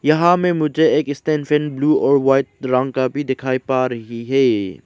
यहां में मुझे एक स्टैंड फैन ब्लू और व्हाइट रंग का भी दिखाई पा रही है।